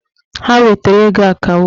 Ha wetara ego akawo